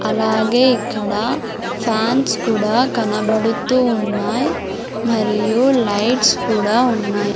అలాగే ఇక్కడ ఫ్యాన్స్ కూడా కనబడుతూ ఉన్నాయ్ మరియు లైట్స్ కూడా ఉన్నాయ్.